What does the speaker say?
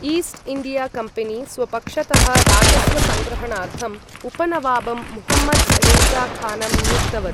East India company स्वपक्षतः राजस्वसङ्ग्रहणार्थम् उपनवाबं मुहम्मद् रेज़ा खानं नियुक्तवत्।